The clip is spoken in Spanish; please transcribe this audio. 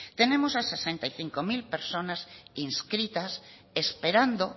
tenemos a sesenta y cinco mil personas inscritas esperando